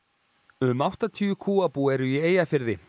um áttatíu kúabú eru í Eyjafirði